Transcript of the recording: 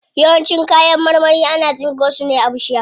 Yawancin kayan marmari ana tsinko su ne a bishiya.